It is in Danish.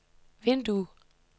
vindue